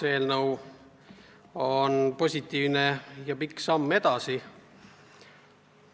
Eelnõu on positiivne ja pikk samm edasi.